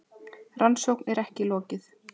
Rannsókn er ekki lokið.